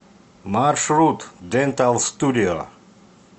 маршрут дентал студио